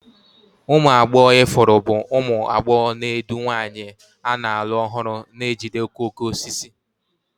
Ụmụ agbọghọ ifuru bụ ụmụ agbọghọ na-edu nwanyị a na-alụ ọhụrụ na-ejide okooko osisi.